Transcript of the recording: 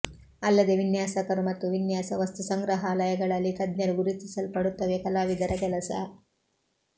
ಅಲ್ಲದೆ ವಿನ್ಯಾಸಕರು ಮತ್ತು ವಿನ್ಯಾಸ ವಸ್ತುಸಂಗ್ರಹಾಲಯಗಳಲ್ಲಿ ತಜ್ಞರು ಗುರುತಿಸಲ್ಪಡುತ್ತವೆ ಕಲಾವಿದರ ಕೆಲಸ